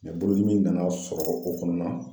bolodimi nana sɔrɔ o kɔnɔna na.